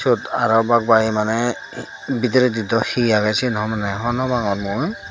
iyot araw bagbagi mane bidiredi daw hi agey sien homoney honopangor mui.